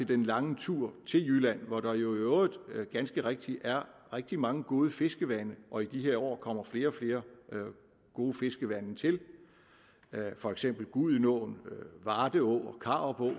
den lange tur til jylland hvor der i øvrigt ganske rigtigt er rigtig mange gode fiskevande og i de her år kommer flere og flere gode fiskevande til for eksempel gudenå varde å og karup